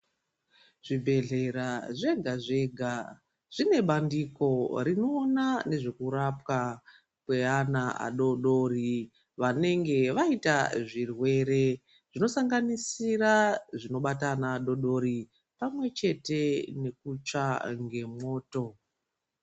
Zvibhedhlera zvega zvega zvine bandiko rinoona nezve kurapwa kweana adoodori vanenge vaita zvirwere zvinosanganisira zvinobata ana adoodori pamwe chete nekutsva ngemwoto.